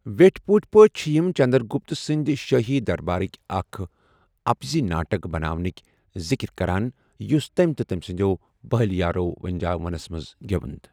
ویٹھِ پوُٹھۍ پٲٹھۍ چھِ یِم چنٛدرٛگُپت سُند شٲہی دربارُك اكھ اپُزُیہ ناٹُك بناونُك دِكركران یُس تمہِ تہٕ تمہِ سندِیو پہٕلہِ یارو٘ وِنجا ونس منز گِیوٚند ۔